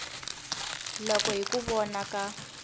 loko hi ku vona ka